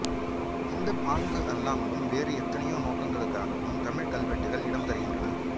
இந்தப் பாங்கு அல்லாமலும் வேறு எத்தனையோ நோக்குகளுக்காகவும் தமிழ்க்கல்வெட்டுகள் இடம் தருகின்றன